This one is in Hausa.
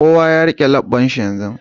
Kowa ya rike lebbanshi yanzu.